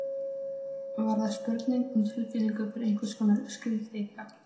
Var það spurning um tilfinningu fyrir einhvers konar skyldleika?